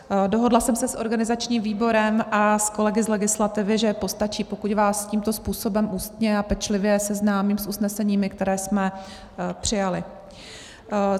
Dohodla jsem se s organizačním výborem a s kolegy z legislativy, že postačí, pokud vás tímto způsobem ústně a pečlivě seznámím s usneseními, která jsme přijali.